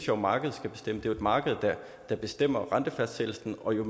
jo markedet skal bestemme det er et marked der bestemmer rentefastsættelsen og jo